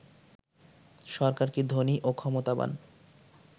সরকার কি ধনী ও ক্ষমতাবান